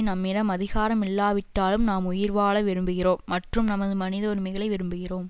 நம்மிடம் அதிகாரம் இல்லாவிட்டாலும் நாம் உயிர்வாழ விரும்புகிறோம் மற்றும் நமது மனித உரிமைகளை விரும்புகிறோம்